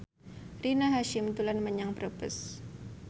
Rina Hasyim dolan menyang Brebes